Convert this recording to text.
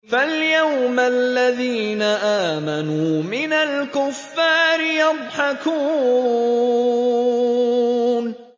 فَالْيَوْمَ الَّذِينَ آمَنُوا مِنَ الْكُفَّارِ يَضْحَكُونَ